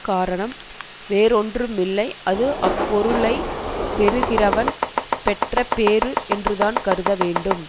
காரணம் வேறொன்றுமில்லை அது அப்பொருளைப் பெறுகிறவன் பெற்றபேறு என்றுதான் கருதவேண்டும்